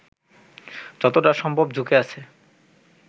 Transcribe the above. যতটা সম্ভব ঝুঁকে আছে